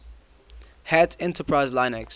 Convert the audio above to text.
hat enterprise linux